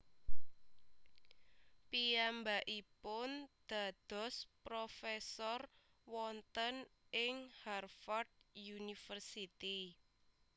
Piyambakipun dados profesor wonten ing Harvard University